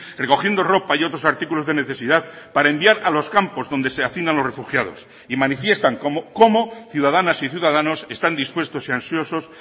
recogiendo ropa y otros artículos de necesidad para enviar a los campos donde se hacinan los refugiados y manifiestan cómo ciudadanas y ciudadanos están dispuestos y ansiosos